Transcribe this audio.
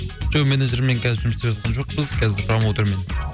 жоқ менеджермен кәзір жұмыс істеп жатқан жоқпыз қазір промоутермен